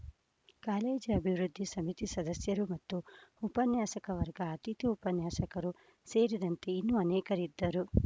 college ಅಭಿವೃದ್ಧಿ ಸಮಿತಿ ಸದಸ್ಯರು ಮತ್ತು ಉಪನ್ಯಾಸಕ ವರ್ಗ ಅತಿಥಿ ಉಪನ್ಯಾಸಕರು ಸೇರಿದಂತೆ ಇನ್ನೂ ಅನೇಕರಿದ್ದರು